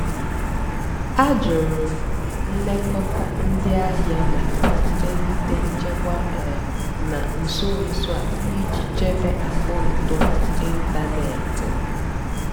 àjụ́rụ́ m nlékótá ndí àhìá màkà mmèlíté nchèkwà um nà nsó nsó á ìjì chèbé àkàụ́ntụ́ um ị́ntánètị́ m.